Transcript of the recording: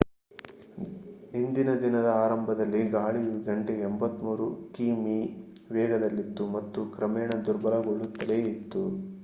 ಇಂದಿನ ದಿನದ ಆರಂಭದಲ್ಲಿ ಗಾಳಿಯು ಗಂಟೆಗೆ 83 ಕಿಮೀ ವೇಗದಲ್ಲಿತ್ತು ಮತ್ತು ಕ್ರಮೇಣ ದುರ್ಬಲಗೊಳ್ಳುತ್ತಲೇ ಇತ್ತು